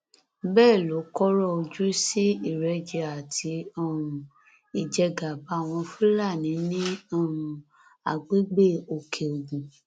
bẹẹ ló kọrọ ojú sí ìrẹjẹ àti um ìjẹgàba àwọn fúlàní ní um agbègbè òkèogun